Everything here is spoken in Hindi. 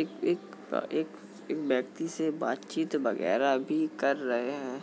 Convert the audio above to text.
एक-एक-एक-एक व्यक्ति से बातचीत वगैरा भी कर रहे हैं।